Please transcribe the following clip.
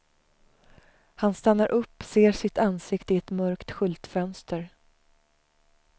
Han stannar upp, ser sitt ansikte i ett mörkt skyltfönster.